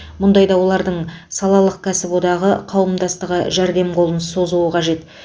мұндайда олардың салалық кәсіподағы қауымдастығы жәрдем қолын созуы қажет